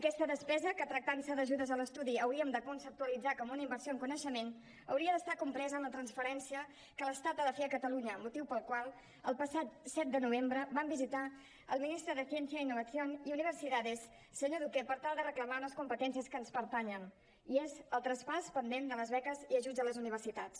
aquesta despesa que tractant se d’ajudes a l’estudi hauríem de conceptualitzar com una inversió en coneixement hauria d’estar compresa en la transferència que l’estat ha de fer a catalunya motiu pel qual el passat set de novembre vam visitar el ministre de ciencia innovación y universidades senyor duque per tal de reclamar unes competències que ens pertanyen i és el traspàs pendent de les beques i ajuts a les universitats